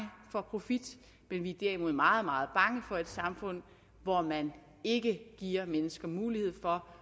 for profit men vi er derimod meget meget bange for et samfund hvor man ikke giver mennesker mulighed for